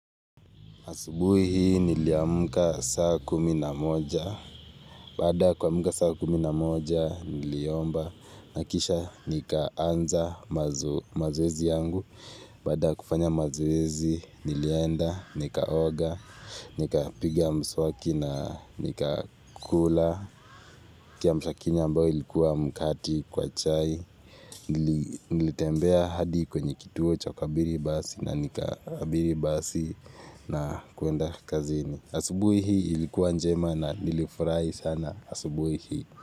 Asubuhi niliamka saa kuminamoja, bada kwa muka saa kuminamoja niliomba na kisha nikaanza mazoezi yangu, bada kufanya mazoezi nilienda, nikaoga, nika piga mswaki na nikakula. Kia mshakini ambao ilikuwa mkati kwa chai nilitembea hadi kwenye kituo chokabiri basi na nikabiri basi na kuenda kazini asubui hii ilikuwa njema na nilifurai sana asubu hii.